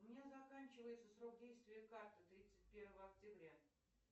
у меня заканчивается срок действия карты тридцать первого октября